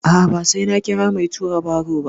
A'a, ba sai na kira mai tura baro ba.